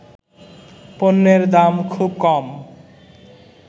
পণ্যের দাম খুব কম